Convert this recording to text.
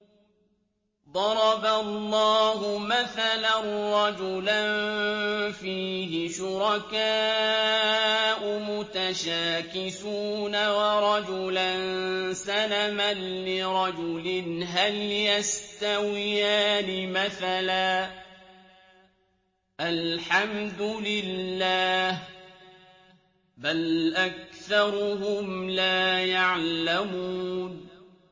ضَرَبَ اللَّهُ مَثَلًا رَّجُلًا فِيهِ شُرَكَاءُ مُتَشَاكِسُونَ وَرَجُلًا سَلَمًا لِّرَجُلٍ هَلْ يَسْتَوِيَانِ مَثَلًا ۚ الْحَمْدُ لِلَّهِ ۚ بَلْ أَكْثَرُهُمْ لَا يَعْلَمُونَ